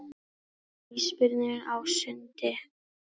Ísbirnir á sundi.